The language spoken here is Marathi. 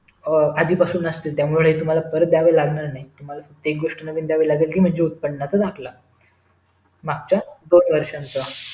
आधीपासून असतील त्यामुळे ते तुम्हाला परत दयावे लागणार नाही तुम्हाला फक्त एक गोष्ठ नवीन दयावी लागणार आहे ती म्हणजे उत्पन्नचा दाखला मागच्या दोन वर्षचा